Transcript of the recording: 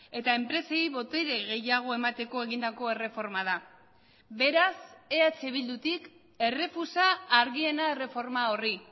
eta enpresei botere gehiago emateko egindako erreforma da beraz eh bildutik errefusa argiena erreforma horri